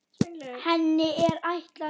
Henni er ætlað að